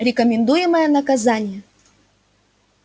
рекомендуемое наказание